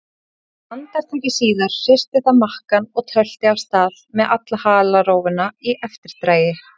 Andartaki síðar hristi það makkann og tölti af stað með alla halarófuna í eftirdragi.